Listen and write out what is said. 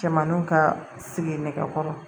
Cɛmaninw ka sigi nɛgɛ kɔrɔ